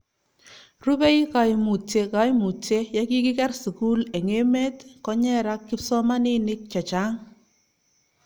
rubei kaimutie kaimutie, ya kikiker sukul eng' emet, konyerak kipsomaninik che chang'